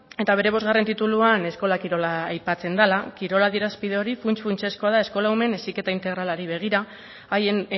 eta bere bost tituluan eskola kirola aipatzen dela kirol adierazpide hori funts funtsezkoa da eskola umeen heziketa integralari begira haien